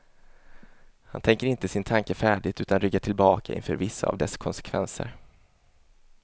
Han tänker inte sin tanke färdigt utan ryggar tillbaka inför vissa av dess konsekvenser.